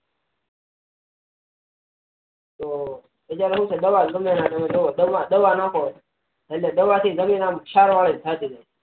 તો બજારે તમે દવા ગમેતે ના ત્યાના દવા નાખો એટલે દવા થી જમીન સારી વારી થતી જાય